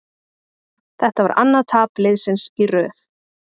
Þetta var annað tap liðsins í röð.